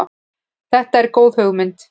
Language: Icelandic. Þetta er góð hugmynd.